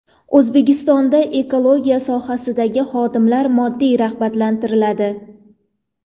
O‘zbekistonda ekologiya sohasidagi xodimlar moddiy rag‘batlantiriladi.